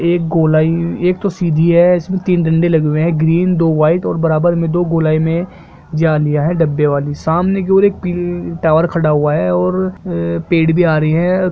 एक गोलाई एक तो सीडी है इसमे डंडे लगे हुए है ग्रीन दो व्हाइट और बराबर दो गोलाई मे झालिया है डब्बे वाली सामने के और एक पिल टावर खडा हुआ है और पैड भी आ रही है।